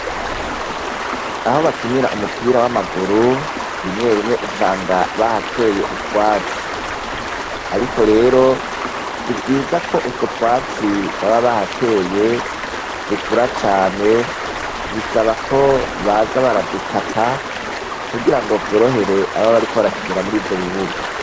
Aho bakinira umupira w'amaguru, rimwe rimwe usanga bahateye utwatsi. Ariko rero sivyiza ko utwo twatsi baba bahateye dukura cane, bisaba ko baza baradukata kugira ngo vyorohere ababa bariko barakinira muri ivyo bibuga.